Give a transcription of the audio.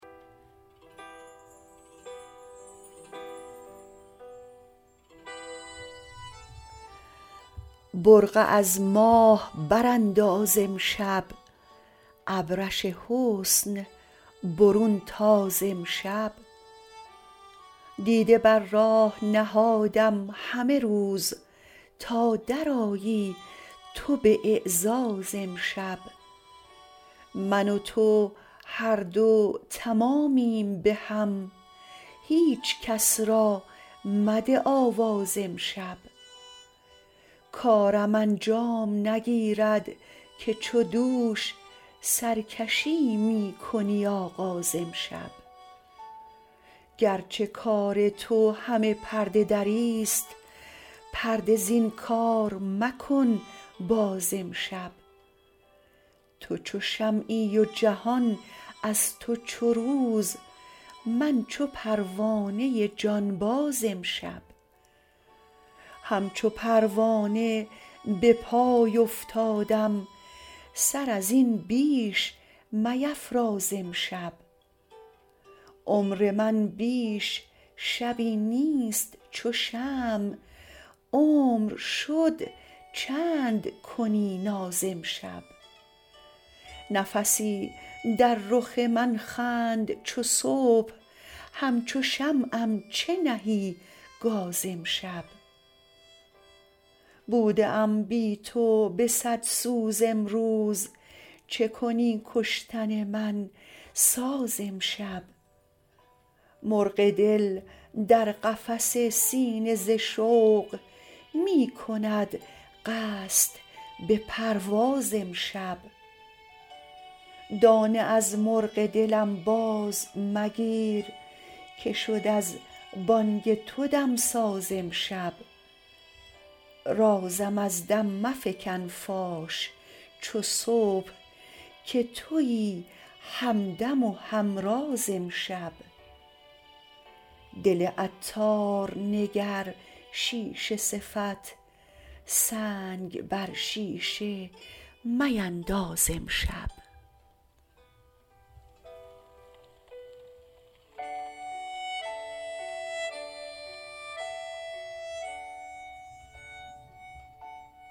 برقع از ماه برانداز امشب ابرش حسن برون تاز امشب دیده بر راه نهادم همه روز تا درآیی تو به اعزاز امشب من و تو هر دو تمامیم بهم هیچکس را مده آواز امشب کارم انجام نگیرد که چو دوش سرکشی می کنی آغاز امشب گرچه کار تو همه پرده دری است پرده زین کار مکن باز امشب تو چو شمعی و جهان از تو چو روز من چو پروانه جانباز امشب همچو پروانه به پای افتادم سر ازین بیش میفراز امشب عمر من بیش شبی نیست چو شمع عمر شد چند کنی ناز امشب نفسی در رخ من خند چو صبح همچو شمعم چه نهی گاز امشب بوده ام بی تو به صد سوز امروز چکنی کشتن من ساز امشب مرغ دل در قفس سینه ز شوق می کند قصد به پرواز امشب دانه از مرغ دلم باز مگیر که شد از بانگ تو دمساز امشب رازم از دم مفکن فاش چو صبح که تویی همدم و همراز امشب دل عطار نگر شیشه صفت سنگ بر شیشه مینداز امشب